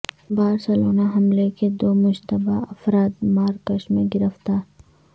Barcelona حملے کے دو مشتبہ افراد مراکش میں گرفتار